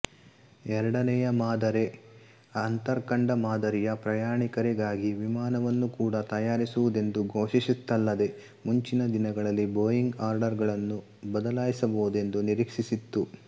ಎರಡನೆಯ ಮಾದರೆ ಅಂತರ್ಖಂಡ ಮಾದರಿಯ ಪ್ರಯಾಣಿಕರಿಗಾಗಿ ವಿಮಾನವನ್ನು ಕೂಡ ತಯಾರಿಸುವುದೆಂದು ಘೋಷಿಸಿತ್ತಲ್ಲದೇ ಮುಂಚಿನ ದಿನಗಳಲ್ಲಿ ಬೋಯಿಂಗ್ ಆರ್ಡರ್ಗಳನ್ನು ಬದಲಾಯಿಸಬಹುದೆಂದು ನಿರೀಕ್ಷಿಸಿತ್ತು